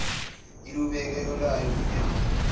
ilubeke olwayo unyawo